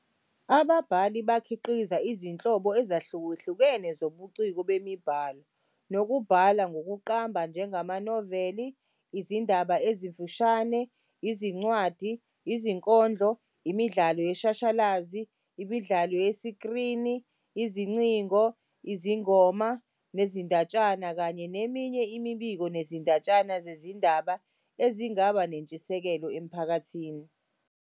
Ababhali bakhiqiza izinhlobo ezahlukahlukene zobuciko bemibhalo nokubhala kokuqamba njengamanoveli, izindaba ezimfishane, izincwadi, izinkondlo, imidlalo yeshashalazi, imidlalo yesikrini, izingcingo, izingoma nezindatshana kanye neminye imibiko nezindatshana zezindaba ezingaba nentshisekelo emphakathini.